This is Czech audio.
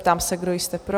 Ptám se, kdo jste pro?